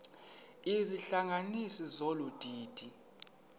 izihlanganisi zolu didi